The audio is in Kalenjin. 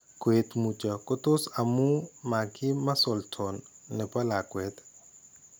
Koet mutyoo ko tos ko amu makiim muscle tone ne po lakweet.